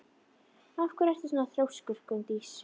Af hverju ertu svona þrjóskur, Gunndís?